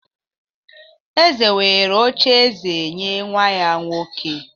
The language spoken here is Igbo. eze were oche-eze nye nwa-ya nwoke